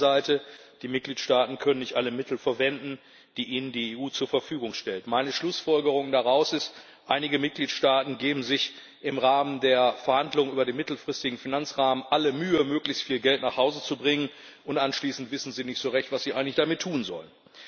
Auf der anderen Seite Die Mitgliedsstaaten können nicht alle Mittel verwenden, die ihnen die EU zu Verfügung stellt. Meine Schlussfolgerung daraus ist Einige Mitgliedstaaten geben sich im Rahmen der Verhandlungen über den mittelfristigen Finanzrahmen alle Mühe, möglichst viel Geld nach Hause zu bringen, und anschließend wissen sie nicht so recht, was sie eigentlich damit tun sollen.